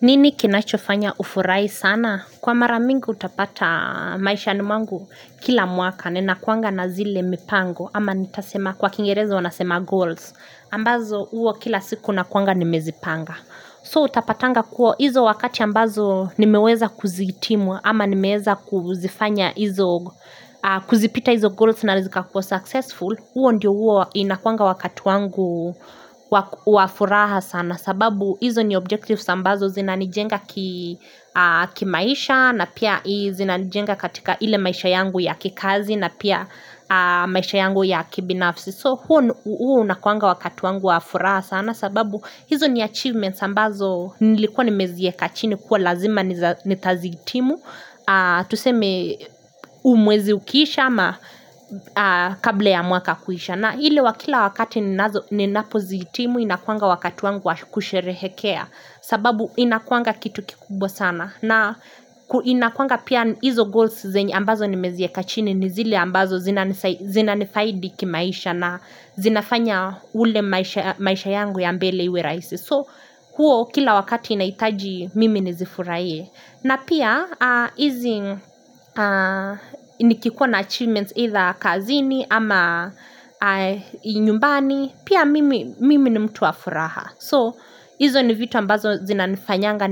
Nini kinachofanya ufurai sana? Kwa maramingi utapata maisha ni mwangu kila mwaka. Nenakuanga na zile mipango. Kwa kingereza wanasema goals. Ambazo uo kila siku nakuanga nimezipanga. So utapatanga kuo hizo wakati ambazo nimeweza kuzitimwa ama nimeweza kuzifanya hizo kuzipita hizo goals na zika kuwa successful, huo ndio huwa inakuanga wakatu wangu waku wafuraha sana sababu hizo ni objective sambazo zina nijenga kimaisha na pia zina nijenga katika ile maisha yangu ya kikazi na pia maisha yangu ya kibinafsi. So huo unakuanga wakati wangu wauraa sana sababu hizo ni achievements ambazo nilikuwa ni meziye kachini kuwa lazima ni taziitimu, tuseme umwezi ukisha ama kabla ya mwaka kuisha. Na hile wakila wakati ninazo ninapozitimu inakuanga wakati wangu wa kusherehekea sababu inakuanga kitu kikubwa sana na inakuanga pia hizo goals zenye ambazo nimeziye kachini nizile ambazo zina nifaidi kimaisha na zinafanya ule maisha yangu ya mbele iwe raisi. So huo kila wakati inaitaji mimi nizifuraye na pia hizi nikikuwa na achievements either kazini ama inyumbani Pia mimi nimtuwa furaha So hizo ni vitu ambazo zina nifanyanga